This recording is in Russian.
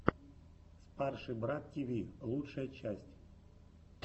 спарший брат тиви лучшая часть